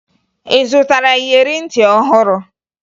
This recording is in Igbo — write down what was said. Ị zụtara iyeri ntị ọhụrụ?